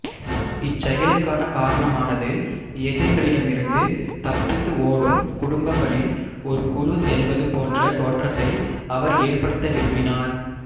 இச்செயலுக்கான காரணமானது எதிரிகளிடமிருந்து தப்பித்து ஓடும் குடும்பங்களின் ஒரு குழு செல்வது போன்ற தோற்றத்தை அவர் ஏற்படுத்த விரும்பினார்